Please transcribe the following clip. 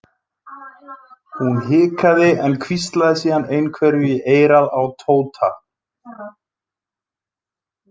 Hún hikaði en hvíslaði síðan einhverju í eyrað á Tóta.